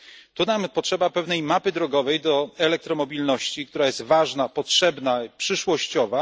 Tu nam potrzeba pewnej mapy drogowej do elektromobilności, która jest ważna, potrzebna i przyszłościowa.